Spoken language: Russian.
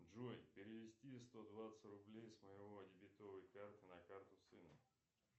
джой перевести сто двадцать рублей с моего дебетовой карты на карту сына